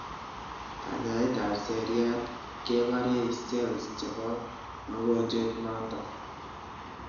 Kanyaet ap seriat keparei cells chepo mogonjwet notok